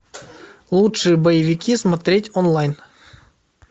лучшие боевики смотреть онлайн